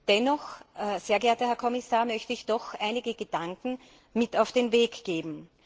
Dennoch, sehr geehrter Herr Kommissar, möchte ich Ihnen einige Gedanken mit auf den Weg geben.